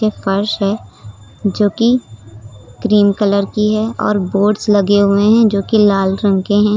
फर्श है जो कि क्रीम कलर की है और बोर्ड्स लगे हुए हैं जो कि लाल रंग के हैं।